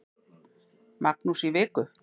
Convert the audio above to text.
Magnús í viku.